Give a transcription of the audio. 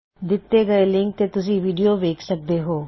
ਦਿੱਤੇ ਹੋਏ ਲਿੰਕ ਤੇ ਤੁਸੀਂ ਵੀਡਿਓ ਦੇਖ ਸਕਦੇ ਹੋ